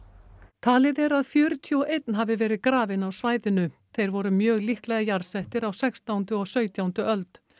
talið er að fjörutíu og einn hafi verið grafinn á svæðinu þeir voru mjög líklega jarðsettir á sextándu og sautjándu öld